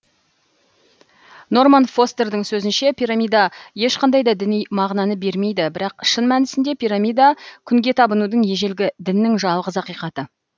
норман фостердің сөзінше пирамида ешқандай да діни мағынаны бермейді бірақ шын мәнісінде пирамида күнге табынудың ежелгі діннің жалғыз ақиқаты